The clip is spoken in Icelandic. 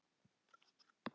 Heill sé yður, horfnu vinir!